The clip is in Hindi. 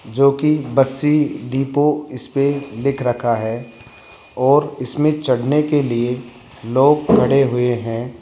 जो की बस्सी डिपो इस पे लिख रखा है और इसमें चढ़ने के लिए लोग खड़े हुए हैं।